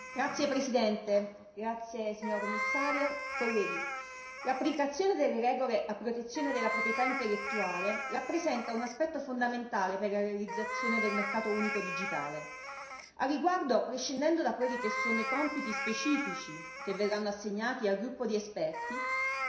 Signor Presidente, onorevoli colleghi, signora Commissario, l'applicazione delle regole a protezione della proprietà intellettuale rappresenta un aspetto fondamentale per la realizzazione del mercato unico digitale. Al riguardo, prescindendo da quelli che sono i compiti specifici che verranno assegnati al gruppo di esperti,